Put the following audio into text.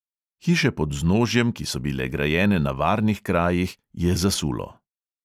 Hiše pod vznožjem, ki so bile grajene na varnih krajih, je zasulo.